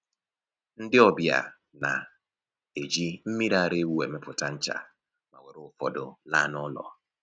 Ndị ọbịa na-eji mmiri ara ewu emepụta ncha ma were ụfọdụ laa n'ụlọ